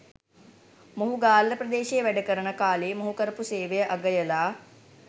මොහු ගාල්ල ප්‍රදේශයේ වැඩකරන කාලයේ මොහු කරපු සේවය අගයලා